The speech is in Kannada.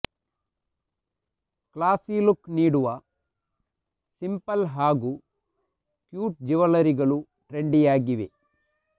ಕ್ಲಾಸಿ ಲುಕ್ ನೀಡುವ ಸಿಂಪಲ್ ಹಾಗೂ ಕ್ಯೂಟ್ ಜುವೆಲರಿಗಳು ಟ್ರೆಂಡಿಯಾಗಿವೆ